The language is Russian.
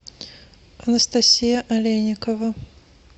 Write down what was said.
анастасия олейникова